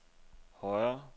højere